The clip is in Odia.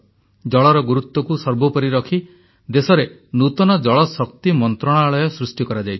ଜଳର ଗୁରୁତ୍ୱକୁ ସର୍ବୋପରି ରଖି ଦେଶରେ ନୂତନ ଜଳଶକ୍ତି ମନ୍ତ୍ରଣାଳୟ ସୃଷ୍ଟି କରାଯାଇଛି